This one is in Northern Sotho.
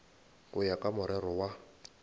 go ya ka morero wa